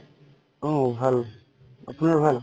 অ ভাল। আপোনাৰ ভাল?